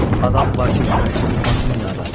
Adam var ki, çörək tapmaz dünyada.